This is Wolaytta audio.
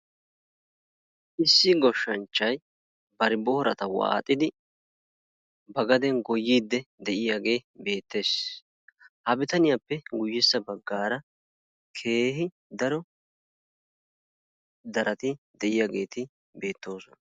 issi gooshanachay baari boorata waaxidi ba gaden goyyidi diyaagee beettees. ha bitaaniyaappe guyessa baggaara keehi daro darati diyaageti beettoosona.